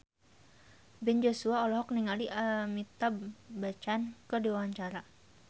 Ben Joshua olohok ningali Amitabh Bachchan keur diwawancara